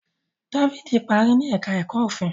David parí ní èka èko òfin.